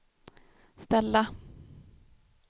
ställa